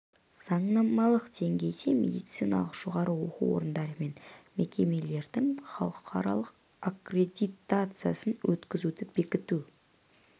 заңнамалық деңгейде медициналық жоғары оқу орындары мен мекемелердің халықаралық аккредитациясын өткізуді бекіту